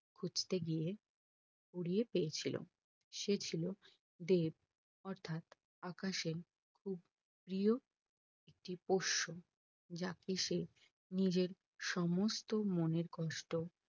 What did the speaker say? খুঁজে গিয়ে কুড়িয়ে পেয়েছিলো সে ছিল দেব অর্থাৎ আকাশের খুব প্রিয় একটি পশু যাকে সে নিজের সমস্ত মনের কষ্ট